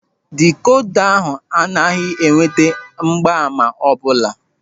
Dịkoda ahụ anaghị enweta mgbaàmà ọbụla.